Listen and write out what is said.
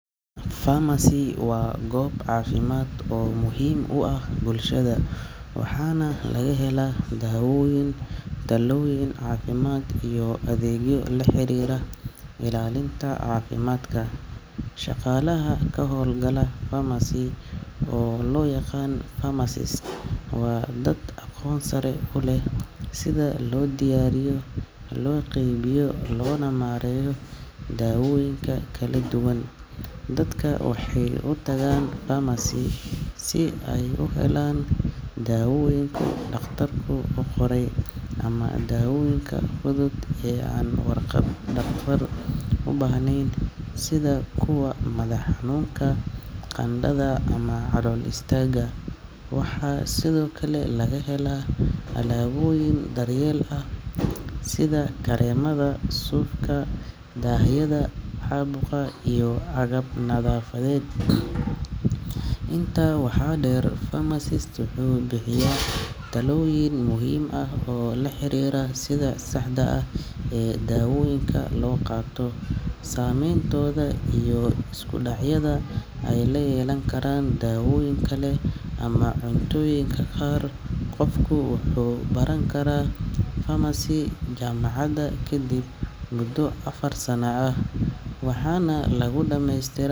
Pharmacy waa goob caafimaad oo muhiim u ah bulshada, waxaana laga helaa dawooyin, talooyin caafimaad iyo adeegyo la xiriira ilaalinta caafimaadka. Shaqaalaha ka howlgala pharmacy, oo loo yaqaan pharmacists, waa dad aqoon sare u leh sida loo diyaariyo, loo qaybiyo, loona maareeyo dawooyinka kala duwan. Dadka waxay u tagaan pharmacy si ay u helaan dawooyinka dhakhtarku u qoray ama dawooyinka fudud ee aan warqad dhakhtar u baahnayn sida kuwa madax xanuunka, qandhada, ama calool istaagga. Waxaa sidoo kale laga helaa alaabooyin daryeel ah sida kareemada, suufka, daahyada caabuqa iyo agab nadaafadeed. Intaa waxaa dheer, pharmacist wuxuu bixiyaa talooyin muhiim ah oo la xiriira sida saxda ah ee dawooyinka loo qaato, saameyntooda iyo iskudhacyada ay la yeelan karaan dawooyin kale ama cuntooyinka qaar. Qofku wuxuu baran karaa pharmacy jaamacad kadib muddo afar sano ah, waxaana lagu dhammaystiraa.